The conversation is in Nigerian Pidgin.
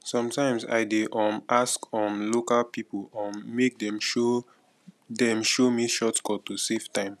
sometimes i dey um ask um local pipo um make dem show dem show me shortcuts to save time